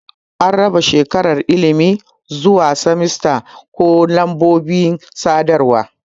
An raba shekarar ilimi zuwa semesta ko lambobin sadarwa.